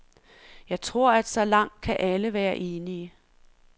Jeg tror, at så langt kan alle være enige.